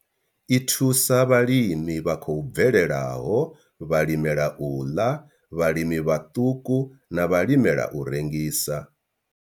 I thusa vhalimi vha khou bvelelaho, vhalimela u ḽa, vhalimi vhaṱuku na vhalimela u rengisa.